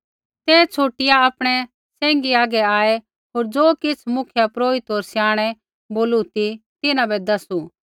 ते छ़ुटिआ आपणै सैंघी हागै आऐ होर ज़ो किछ़ मुख्यपुरोहिते होर स्याणै बोलू ती तिन्हां बै दैसू